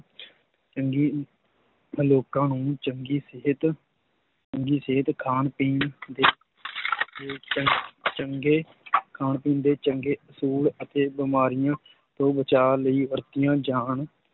ਚੰਗੀ ਲੋਕਾਂ ਨੂੰ ਚੰਗੀ ਸਿਹਤ, ਚੰਗੀ ਸਿਹਤ ਖਾਣ ਪੀਣ ਦੇ ਦੇ ਚੰ~ ਚੰਗੇ ਖਾਣ ਪੀਣ ਦੇ ਚੰਗੇ ਅਸੂਲ ਅਤੇ ਬਿਮਾਰੀਆਂ ਤੋਂ ਬਚਾਅ ਲਈ ਵਰਤੀਆਂ ਜਾਣ